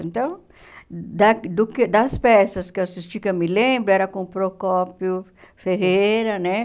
Então, da do que das peças que eu assisti, que eu me lembro, era com o Procópio Ferreira, né?